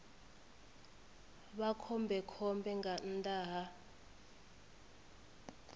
vha khombekhombe nga nnḓa ha